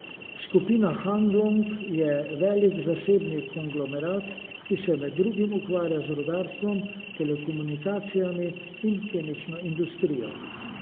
Skupina Hanlong je velik zasebni konglomerat, ki se med drugim ukvarja z rudarstvom, telekomunikacijami in kemično industrijo.